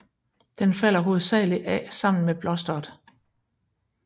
Den falder hovedsagelig af sammen med blosteret